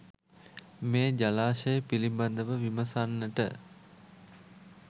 මේ ජලාශය පිළිබඳව විමසන්නට